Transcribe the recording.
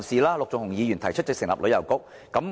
陸頌雄議員提出成立旅遊局。